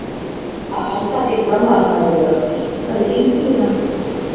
Að halda því fram að hann hafi verið að fitla við engilinn hann Diddi!